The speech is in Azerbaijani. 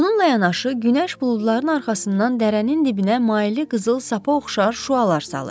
Bununla yanaşı, günəş buludların arxasından dərənin dibinə maili qızıl sapı oxşar şüalar salır.